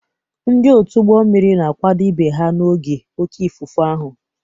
Ndị otu ụgbọ mmiri na-akwado ibe ha n'oge oké ifufe ahụ.